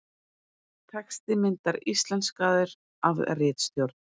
Texti myndar íslenskaður af ritstjórn.